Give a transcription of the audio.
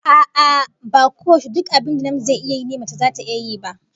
A'a, ba koyaushe duk abin da namiji zai yi ne mace ma zata iya yi ba